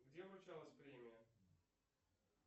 где вручалась премия